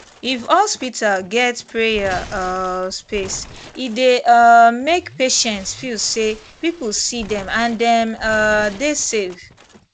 if hospital get prayer um space e dey um make patients feel say people see dem and dem um dey safe